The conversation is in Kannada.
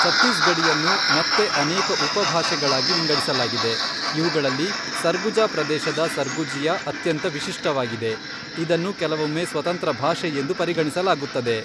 ಛತ್ತೀಸ್ಗಢಿಯನ್ನು ಮತ್ತೆ ಅನೇಕ ಉಪಭಾಷೆಗಳಾಗಿ ವಿಂಗಡಿಸಲಾಗಿದೆ, ಇವುಗಳಲ್ಲಿ ಸರ್ಗುಜಾ ಪ್ರದೇಶದ ಸರ್ಗುಜಿಯಾ ಅತ್ಯಂತ ವಿಶಿಷ್ಟವಾಗಿದೆ, ಇದನ್ನು ಕೆಲವೊಮ್ಮೆ ಸ್ವತಂತ್ರ ಭಾಷೆಯೆಂದು ಪರಿಗಣಿಸಲಾಗುತ್ತದೆ.